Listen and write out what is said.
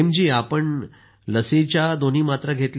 आपण तर लसींच्या दोन्ही मात्रा घेतल्या असतील